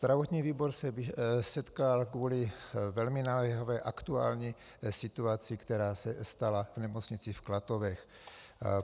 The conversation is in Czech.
Zdravotní výbor se sešel kvůli velmi naléhavé aktuální situaci, která se stala v nemocnici v Klatovech.